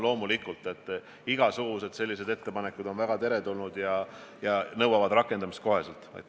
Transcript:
Loomulikult on igasugused sellised ettepanekud väga teretulnud ja nõuavad kohest rakendamist.